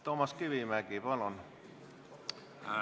Toomas Kivimägi, palun!